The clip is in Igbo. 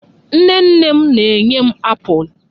Nne nne m na-enye m apụl.